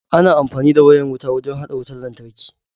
Ana amfani da wayan wuta wurin hada wutan lantarki.